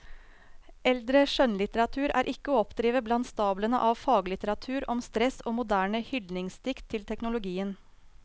Eldre skjønnlitteratur er ikke å oppdrive blant stablene av faglitteratur om stress og moderne hyldningsdikt til teknologien.